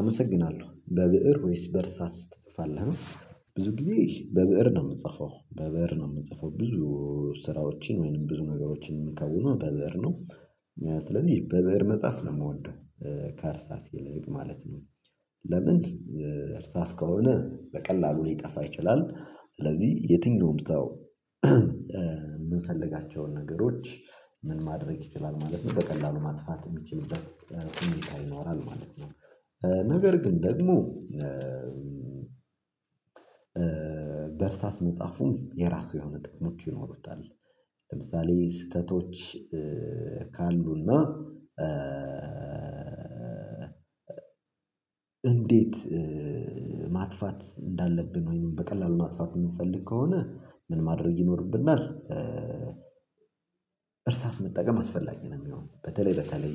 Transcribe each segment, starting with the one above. አመሰግናለሁ በብእር ወይስ በእርሳስ ትጥፋለህ? ብዙ ጊዜ በብእር ነው የምጽፈው በብእር ነው የምንጽፈው ብዙ ስራዎችን ወይንም ብዙ ነገሮችን የምንከውነው በበር ነው። ስለዚህ በበር መጽሐፍ ነው የምወደው። ከእርሳስ ይልቅ ማለት ነው። ለምንድን? እርሳስ ከሆነ በቀላሉ ሊጠፋ ይችላል ስለዚህ የትኛውም ሰው። የምንፈልጋቸውን ነገሮች። ምን ማድረግ ይችላል ማለት ነው በቀላሉ ማጥፋት የሚችልበት ሁኔታ ይኖራል ማለት ነው። ነገር ግን ደግሞ በእርሳስ መጽሐፉም የራሱ የሆነ ጥቅሙት ይኖሩታል። ለምሳሌ ስህተቶች ካሉና። እንዴት? ማጥፋት እንዳለብን ወይም በቀላሉ ማጥፋት የምንፈልግ ከሆነ ምን ማድረግ ይኖርብናል? እርሳስ መጠቀም አስፈላጊ ነው የሚሆነው። በተለይ በተለይ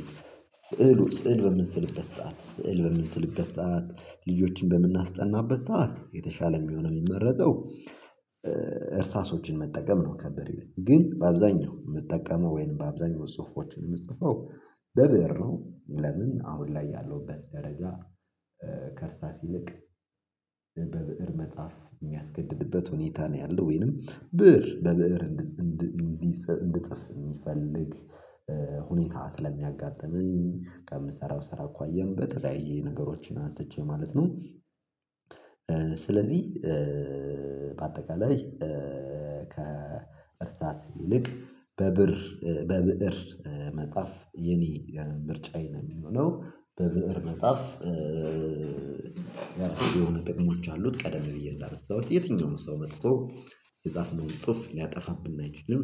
ስዕሉ ስዕል በምን ስልበት ሰዓት ስዕል በምን ስልበት ገሰት ልጆችን በምናስጠናበት ሰዓት የተሻለ የሚሆነው የሚመረቀው። እርሳሶችን መጠቀም ነው ከበሬ ላይ ግን በአብዛኛው የምጠቀመው ወይም በአብዛኛው ጽሁፎች የምጽፈው በብሩ ነው። ለምን አሁን ላይ ያለውበት ደረጃ። ከርሳስ ይልቅ በብእር መጽሐፍ የሚያስገድድበት ሁኔታ ነው። ያለው ወይንም ብእር በብእር እንዲጽፍ የሚፈልግ ሁኔታ ስለሚያጋጥመኝ ከምሰራው ስራ እኮ አየን በተለያየ ነገሮችን አንስቼ ማለት ነው። ስለዚህ በአጠቃላይ ከ ከእርሳስ ይልቅ በብር በብእር መጽሐፍ የኔ ምርጫዬ ነው የሚሆነው በብእር መጻሐፍ። ያልተወለደ ጥቅሞች አሉት ቀደም ብዬ እንዳመሰሰሁት የትኛውም ሰው መጥቶ የጻፍነውን ጽሁፍ ያጠፋብን አይችልም።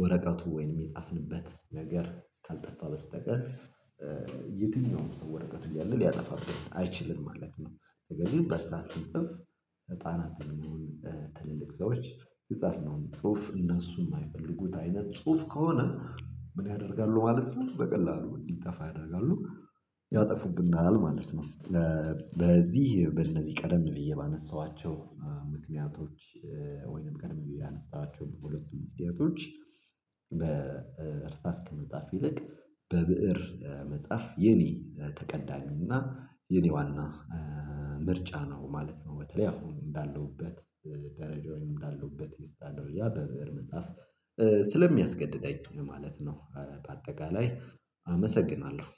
ወረቀቱ ወይንም የጻፍንበት ነገር ካልጠፋ በስተቀር። የትኛውም ሰው ወረቀቱ እያለ ሊያጠፋብን አይችልም ማለት ነው። ተገኝተህ በርስራስ ትንጽፍ ህፃናትን የሚሆን ትልልቅ ሰዎች ህፃን ነው ጽሁፍ እነሱ የማይፈልጉት አይነት ጽሁፍ ከሆነ። ምን ያደርጋሉ ማለት ነው? በቀላሉ እንዲጠፋ ያደርጋሉ። ያጠፉብናል ማለት ነው። ለዚህ በእነዚህ ቀደም ብዬ ባነሳኋቸው ምክንያቶች። ወይንም ቀደም ብዬ አነሳኋቸው በሁለቱም ምክንያቶች። በእርሳስ ከመጽሐፍ ይልቅ በብእር መጽሐፍ የኔ ተቀዳሚ እና የኔ ዋና ምርጫ ነው ማለት ነው። በተለይ አሁን እንዳለሁበት ደረጃውን እንዳለሁበት ኢንስታዶሪያ በብእር መጽሐፍ ስለሚያስገድደኝ ማለት ነው። በአጠቃላይ አመሰግናለሁ።